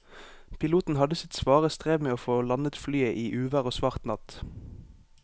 Piloten hadde sitt svare strev med å få landet flyet i uvær og svart natt.